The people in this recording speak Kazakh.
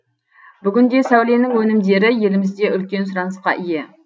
бүгінде сәуленің өнімдері елімізде үлкен сұранысқа ие